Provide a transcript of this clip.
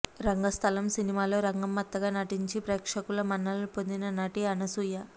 రంగస్థలం సినిమాలో రంగమ్మత్తగా నటించి ప్రేక్షకుల మన్ననలు పొందింది నటి అనసూయ